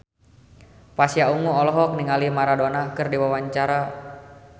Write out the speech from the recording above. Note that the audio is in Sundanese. Pasha Ungu olohok ningali Maradona keur diwawancara